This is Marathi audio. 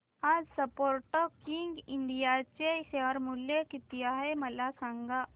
आज स्पोर्टकिंग इंडिया चे शेअर मूल्य किती आहे मला सांगा